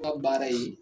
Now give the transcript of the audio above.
Aw ka baara ye